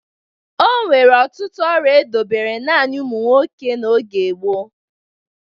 O nwere ọtụtụ ọrụ e dobere naanị ụmụ nwoke n'oge gboo.